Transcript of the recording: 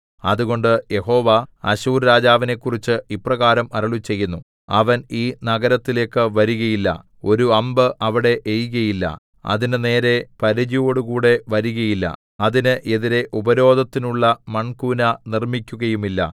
അതുകൊണ്ട് യഹോവ അശ്ശൂർരാജാവിനെക്കുറിച്ച് ഇപ്രകാരം അരുളിച്ചെയ്യുന്നു അവൻ ഈ നഗരത്തിലേക്ക് വരികയില്ല ഒരു അമ്പ് അവിടെ എയ്കയില്ല അതിന്റെ നേരെ പരിചയോടുകൂടെ വരികയില്ല അതിന് എതിരെ ഉപരോധത്തിനുള്ള മൺകൂന നിർമ്മിക്കുകയുമില്ല